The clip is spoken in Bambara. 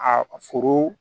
A foro